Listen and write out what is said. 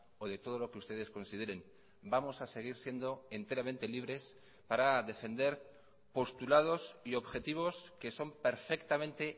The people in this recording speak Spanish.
o de todo lo que ustedes consideren vamos a seguir siendo enteramente libres para defender postulados y objetivos que son perfectamente